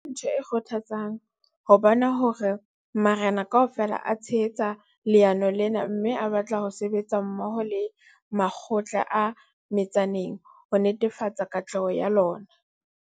Ke ntho e kgothatsang ho bona hore marena kaofela a tshehetsa leano lena mme a batla ho sebetsa mmoho le makgotla a metsaneng ho netefatsa katleho ya lona.